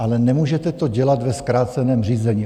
Ale nemůžete to dělat ve zkráceném řízení.